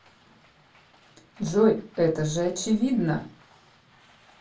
джой это же очевидно